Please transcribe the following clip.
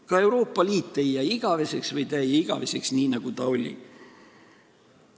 Ka Euroopa Liit ei jää igaveseks või ta ei jää igaveseks selliseks, nagu ta oli.